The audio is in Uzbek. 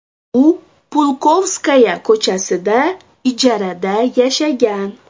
U Pulkovskaya ko‘chasida ijarada yashagan.